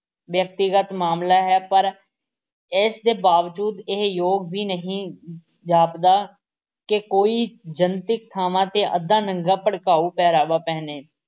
ਵਿਅਕਤੀਗਤ ਮਾਮਲਾ ਹੈ ਪਰ ਇਸ ਦੇ ਬਾਵਜੂਦ ਇਹ ਯੋਗ ਵੀ ਨਹੀਂ ਜਾਪਦਾ ਕਿ ਕੋਈ ਜਨਤਕ ਥਾਂਵਾਂ ਤੇ ਅੱਧ-ਨੰਗਾ ਭੜਕਾਊ ਪਹਿਰਾਵਾ ਪਹਿਨੇ